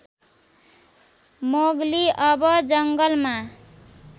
Mowgli अब जङ्गलमा